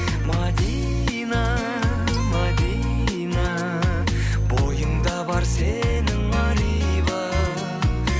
мәдина мәдина бойыңда бар сенің ар иба